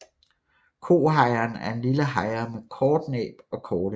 Kohejren er en lille hejre med kort næb og korte ben